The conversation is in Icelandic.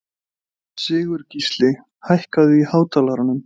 Sigurgísli, hækkaðu í hátalaranum.